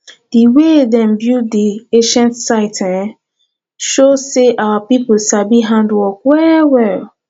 di way dem build di ancient site e show sey our pipo sabi handwork wellwell